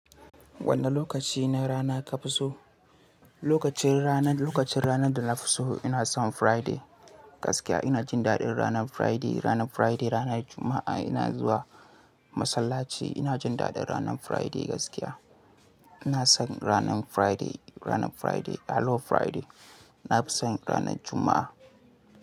Wane lokaci na rana ka fi so? Lokacin rana, lokacin rana da na fi so ina son Friday gaskiya ina jin daɗin ranar Friday. Ranar Friday ranar Juma'a ina zuwa masallaci ina jin daɗin ranar Friday gaskiya. Ina son ranar Friday, ranar Friday. Hello Friday. Na fi son ranar Juma'a.